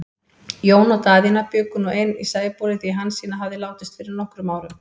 Jón og Daðína bjuggu nú ein í Sæbóli, því Hansína hafði látist fyrir nokkrum árum.